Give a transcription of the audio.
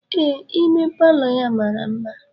Ee ime Palọ ya mara mma.